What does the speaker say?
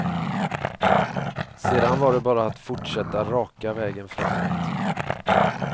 Sedan var det bara att fortsätta raka vägen framåt.